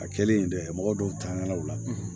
A kɛlen dɛ mɔgɔ dɔw tanɲalaw la